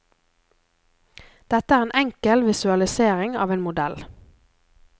Dette er en enkel visualisering av en modell.